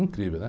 Incrível, né?